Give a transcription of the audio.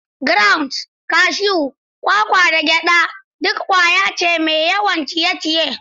Grounds, cashews, kwakwa, da gyada duk ƙwaya ce mai yawan ciye-ciye.